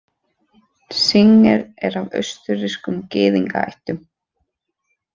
Singer er af austurrískum gyðingaættum.